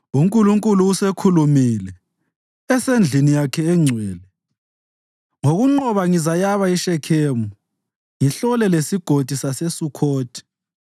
UNkulunkulu usekhulumile esendlini yakhe engcwele: “Ngokunqoba ngizayaba iShekhemu ngihlole leSigodi saseSukhothi.